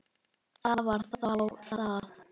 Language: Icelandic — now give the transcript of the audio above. Það var þá það.